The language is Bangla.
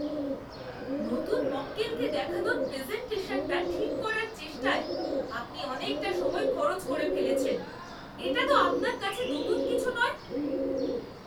নতুন মক্কেলকে দেখানোর প্রেজেন্টেশনটা ঠিক করার চেষ্টায় আপনি অনেকটা সময় খরচ করে ফেলেছেন। এটা তো আপনার কাছে নতুন কিছু নয়।